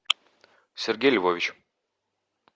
сергей львович